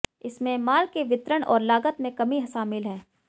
इसमें माल के वितरण और लागत में कमी शामिल है